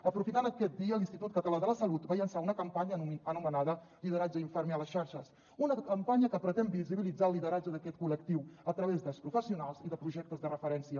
aprofitant aquest dia l’institut català de la salut va llançar una campanya anomenada lideratge infermer a les xarxes una campanya que pretén visibilitzar el lideratge d’aquest col·lectiu a través dels professionals i de projectes de referència